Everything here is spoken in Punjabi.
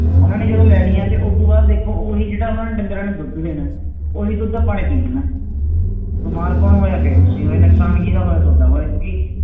ਉਹਨਾਂ ਨੇ ਜਦੋ ਲੈ ਲਈ ਉਤ ਤੋਂ ਬਾਅਦ ਦੇਖੋ ਓਹੀ ਜਿਹੜਾ ਓਹਨਾ ਨੇ ਡੰਗਰਾਂ ਨੇ ਦੁੱਧ ਦੇਣਾ ਤੁਹੀ ਦੁੱਧ ਆਪਾਂ ਨੇ ਪੀ ਲੈਣਾ ਹੈ ਬਿਮਾਰ ਕੌਣ ਹੋਈਆ ਰ ਤੁਸੀਂ ਹੋਏ, ਨੁਕਸਾਨ ਕੀਦਾ ਹੋਇਆ ਤੁਹਾਡਾ ਹੋਇਆ ਕਿਉਕਿ